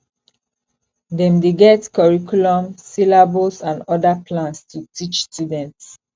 dem dey get curriculum syllabus and oda plans to teach students